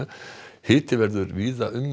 hiti verður víða um